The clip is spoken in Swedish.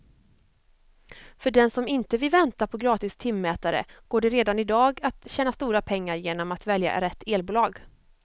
För den som inte vill vänta på gratis timmätare går det redan i dag att tjäna stora pengar genom att välja rätt elbolag.